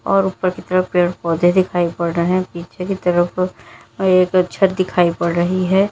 और ऊपर की तरफ पेड़ पौधे दिखाई पड़ रहे हैं पीछे की तरफ एक छत दिखाई पड़ रही है।